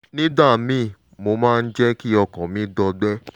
nígbà míì ó máa ń jẹ́ kí ọkàn mi gbọgbẹ́